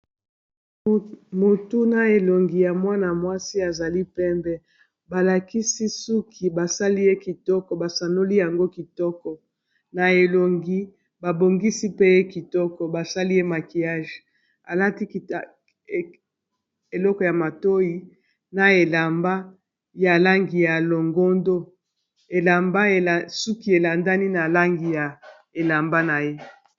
Motu na elongi ya mwana-mwasi azali pembe balakisi suki basali ye kitoko basanoli yango kitoko na elongi babongisi pe ye kitoko basali ye makiyage alati eloko ya matoi na elamba ya langi ya longondo, elamba suki elandani na langi ya elamba na ye.